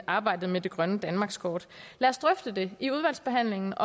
arbejdet med det grønne danmarkskort lad os drøfte det i udvalgsbehandlingen